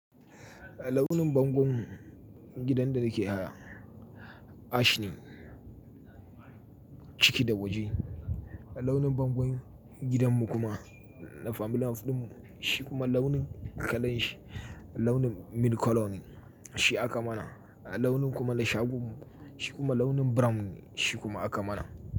Launin bangon gidan da nake haya ash ne ciki da waje. Launin bangon gidanmu kuma na family house ɗin shi kuma launin kalan shi launin milk colour ne shi aka mana. Launin kuma na shagon shi kuma launin brown shi kuma aka mana.